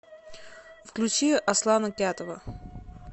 включи аслана кятова